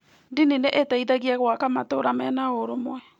Ndini nĩ ĩteithagia gwaka matũũra mena ũrũmwe.